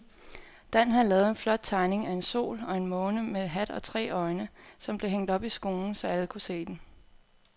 Dan havde lavet en flot tegning af en sol og en måne med hat og tre øjne, som blev hængt op i skolen, så alle kunne se den.